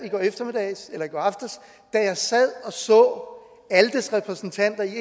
da jeg sad og så aldes repræsentanter i